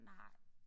Nej